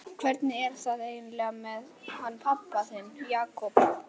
Hvernig er það eiginlega með hann pabba þinn, Jakob?